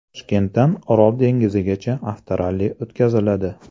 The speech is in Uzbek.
Toshkentdan Orol dengizigacha avtoralli o‘tkaziladi.